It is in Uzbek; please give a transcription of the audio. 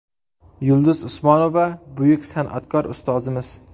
Yulduz Usmonova buyuk san’atkor, ustozimiz.